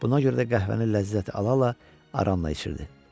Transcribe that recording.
Buna görə də qəhvəni ləzzət ala-ala aranı içirdi.